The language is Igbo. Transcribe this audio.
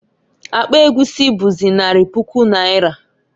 Akpa egwusi͈ buzi, nari puku naira.